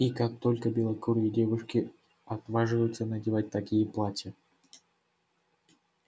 и как только белокурые девушки отваживаются надевать такие платья